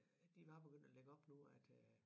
At de var begyndt at lægge op nu at øh